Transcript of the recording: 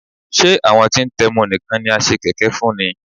Ṣé àwọn tí ń tẹmu nìkan ni a ṣe kẹ̀kẹ́ fún ni?